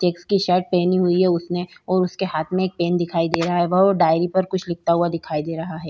Checks की shirt पहनी हुई है उसने और उसके हाथ में एक पेन दिखाई दे रहा है वो डायरी पर कुछ लिखता हुआ दिखाई दे रहा है।